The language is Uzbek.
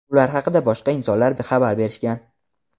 Ular haqida boshqa insonlar xabar berishgan.